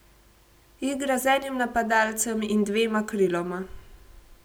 Igra z enim napadalcem in dvema kriloma.